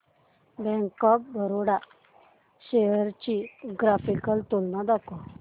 bank of Baroda shares ची graphical तुलना दाखव